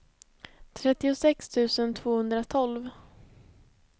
trettiosex tusen tvåhundratolv